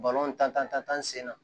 tan sen na